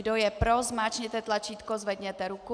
Kdo je pro, zmáčkněte tlačítko, zvedněte ruku.